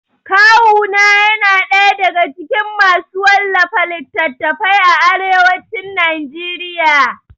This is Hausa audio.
Kawu na yana ɗaya daga cikin masu wallafa littatafai a arewacin Najeriya